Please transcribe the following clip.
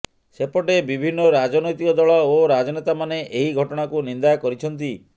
ସେପଟେ ବିଭିନ୍ନ ରାଜନୈତିକ ଦଳ ଓ ରାଜନେତାମାନେ ଏହି ଘଟଣାକୁ ନିନ୍ଦା କରିଛନ୍ତି